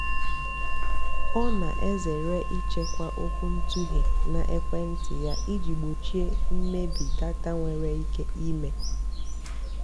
ọ́ nà-èzèré ị́chèkwá ókwúntụ̀ghé nà ékwéntị́ yá ìjì gbòchíé mmébì dátà nwèrè íké ímé.